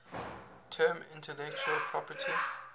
term intellectual property